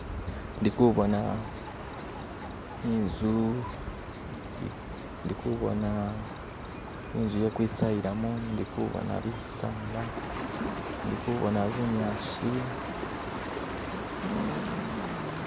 ndi ku'bona i'nzu ndi ku'bona i'nzu ye kwi'sayilamu ndi ku'bona bi'saala ndi ku'bona bu'nyasi